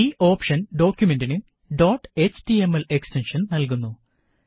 ഈ ഓപ്ഷന് ഡോക്കുമെന്റിന് ഡോട്ട് എച്ടിഎംഎൽ എക്സ്റ്റെന്ഷന് നല്കുന്നു